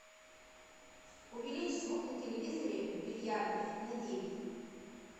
увеличь звук на телевизоре в бильярдной на девять